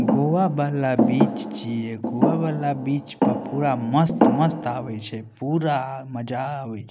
गोवा वाला बीच छै गोवा वाला बीच पर पुरा मस्त-मस्त आवे छै पुरा मज़ा आवे छै।